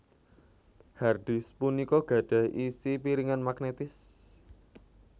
Hard disk punika gadhah isi piringan magnetis